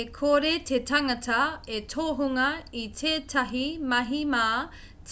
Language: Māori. e kore te tangata e tohunga i tētahi mahi mā